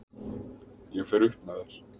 Ég fer upp með þær.